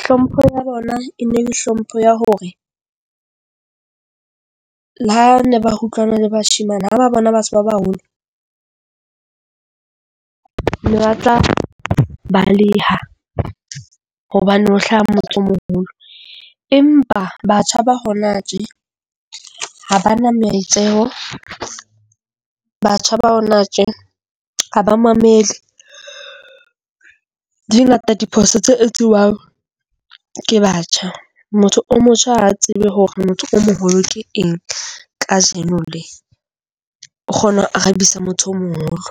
Hlompho ya bona e ne le hlompho ya hore le ha ne ba utlwana le bashemane, ha ba bona batho ba baholo le batla baleha hobane ho hlaha motho o moholo. Empa batjha ba hona tje ha bana maitseho . Batjha ba hona tje ha ba mamele. Di ngata diphoso tse etsiwang ke batjha. Motho o motjha tsebe hore motho o moholo ke eng kajeno le. O kgona ho arabisa motho o moholo.